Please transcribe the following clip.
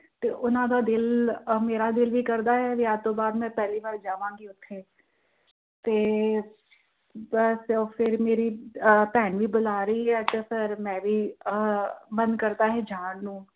ਉਹਨਾਂ ਦਾ ਦਿਲ, ਆਹ ਮੇਰਾ ਦਿਲ ਵੀ ਕਰਦਾ ਹੈ ਵਿਆਹ ਤੋਂ ਬਾਆਦ ਮੈਂ ਪਹਿਲੀ ਵਾਰ ਜਾਵਾਂਗੀ ਉੱਥੇ ਤੇ, ਫਿਰ ਮੇਰੀ ਭੈਣ ਵੀ ਬੁਲਾ ਰਹੀ ਹੈ ਤੇ ਫਿਰ ਮੈਂ ਵੀ ਆਹ ਮੇਰਾ ਮਨ ਕਰਦਾ ਏ ਜਾਣ ਨੂੰ